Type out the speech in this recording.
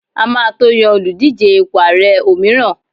a ma to Yan Oludije ipo ààrẹ òmíràn